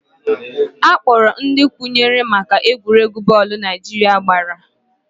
Akpọrọ ndị kwuru maka egwuregwu bọọlụ Naijiria gbara